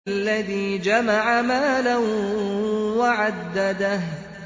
الَّذِي جَمَعَ مَالًا وَعَدَّدَهُ